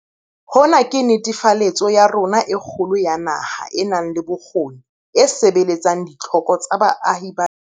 Hona ke netefaletso ya rona e kgolo ya naha e nang le bokgoni e sebeletsang ditlhoko tsa baahi ba yona.